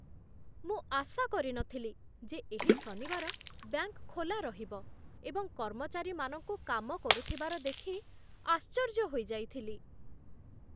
ମୁଁ ଆଶା କରିନଥିଲି ଯେ ଏହି ଶନିବାର ବ୍ୟାଙ୍କ ଖୋଲା ରହିବ ଏବଂ କର୍ମଚାରୀମାନଙ୍କୁ କାମ କରୁଥିବାର ଦେଖି ଆଶ୍ଚର୍ଯ୍ୟ ହୋଇଯାଇଥିଲି!